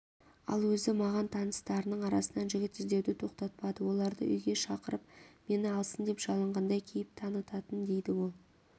ал өзі маған таныстарының арасынан жігіт іздеуді тоқтатпады оларды үйге шақырып мені алсын деп жалынғандай кейіп танытатын дейді ол